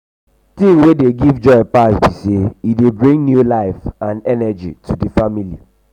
thing wey dey give joy pass be say e dey bring new life and energy to di family.